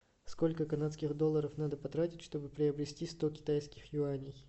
сколько канадских долларов надо потратить чтобы приобрести сто китайских юаней